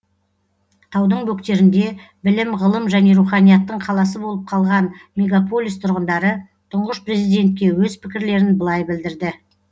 таудың бөктерінде білім ғылым және руханияттың қаласы болып қалған мегаполис тұрғындары тұңғыш президентке өз пікірлерін былай білдірді